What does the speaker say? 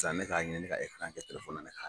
ne ka ɲini ne ka kɛ ne kan